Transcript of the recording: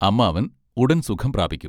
അമ്മാവൻ ഉടൻ സുഖം പ്രാപിക്കും.